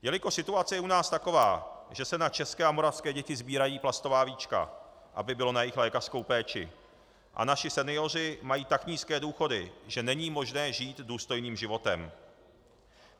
Jelikož situace je u nás taková, že se na české a moravské děti sbírají plastová víčka, aby bylo na jejich lékařskou péči, a naši senioři mají tak nízké důchody, že není možné žít důstojným životem.